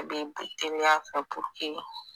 A bi teriya kɛ